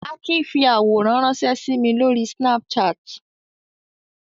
Akin fi àwòrán ránṣẹ́ sí mi lórí Snapchat.